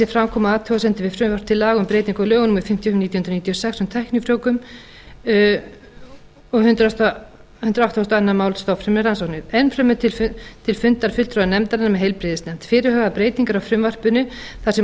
koma athugasemdir við frumvarp til laga um breytingu á lögum númer fimmtíu og fimm nítján hundruð níutíu og sex um tæknifrjóvgun hundrað áttatíu og tvö mál um stofnfrumurannsóknir enn fremur til fundar fulltrúa nefndarinnar um heilbrigðisnefnd fyrirhugaðar breytingar á frumvarpinu þar sem orðalag